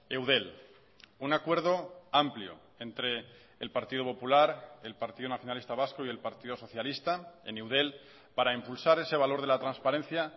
eudel un acuerdo amplio entre el partido popular el partido nacionalista vasco y el partido socialista en eudel para impulsar ese valor de la transparencia